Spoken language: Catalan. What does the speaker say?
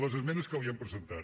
les esmenes que li hem presentat